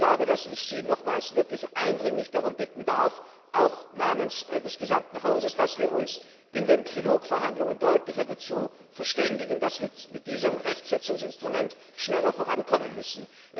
Ich glaube, dass ich Sie nochmals wirklich eindringlich darum bitten darf auch namens des gesamten Hauses dass wir uns in den Trilogverhandlungen deutlicher dazu verständigen, dass wir mit diesem Rechtsetzungsinstrument schneller vorankommen müssen.